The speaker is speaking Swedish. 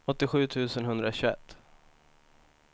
åttiosju tusen etthundratjugoett